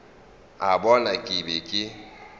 a bona ke be ke